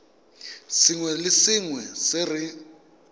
sengwe le sengwe se re